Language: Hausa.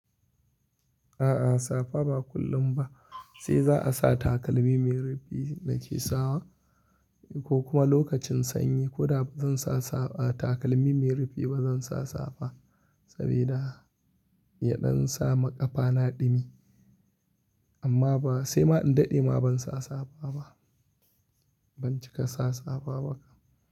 A'a safa ba kullum ba, sai za'a sa takalmi mai rufi da ke sawa ko kuma lokacin sanyi. Ko da ba zan sa takalmi mai rufi ba zan sa safa Saboda yaɗan sa ma ƙafana ɗumi. Amma sai ma in daɗe ma bansa safa ba ban cika sa safa ba.